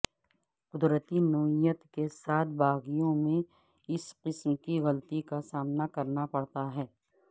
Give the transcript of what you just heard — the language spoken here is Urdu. قدرتی نوعیت کے ساتھ باغیوں میں اس قسم کی غلطی کا سامنا کرنا پڑتا ہے